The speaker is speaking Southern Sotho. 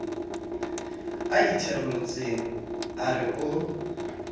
a itherolotseng a re o